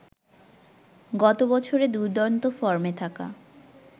গত বছরে দুর্দান্ত ফর্মে থাকা